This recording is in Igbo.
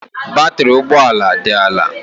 Batrị ụgbọ ala dị ala